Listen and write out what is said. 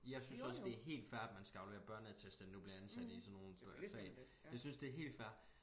Jeg synes også det helt fair at man skal aflevere børneattest når du bliver ansat i sådan nogle fag jeg synes det helt fair